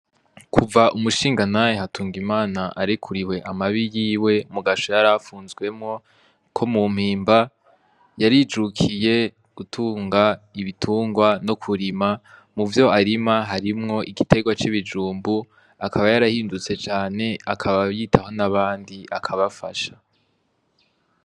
Kuva umushingantahe Hatungimana arekuriwe amabi yiwe mugasho yarafunzwemwo ko mu mpimba yarijukiye gutunga ibitungwa no kurima, mu vyarima harimwo igitegwa c'ibijumbu akaba yarahindutse cane akaba yitaho n'abandi akabafasha.